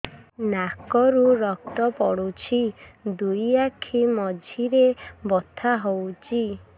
ନାକରୁ ରକ୍ତ ପଡୁଛି ଦୁଇ ଆଖି ମଝିରେ ବଥା ହଉଚି